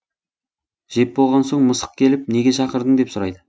жеп болған соң мысық келіп неге шақырдың деп сұрайды